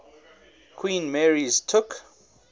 queen mary's took